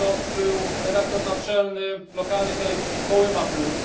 To był redaktor naczelny lokalnej telewizji Kołyma plus.